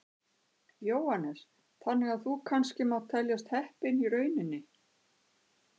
Jóhannes: Þannig að þú kannski mátt teljast heppinn í rauninni?